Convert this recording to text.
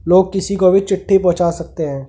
लोग किसी को भी चिट्ठी पहुंचा सकते हैं ।